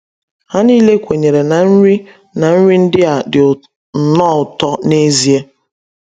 Ha niile kwenyere na nri na nri ndị a dị nnọọ ụtọ n’ezie!